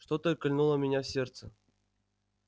что-то кольнуло меня в сердце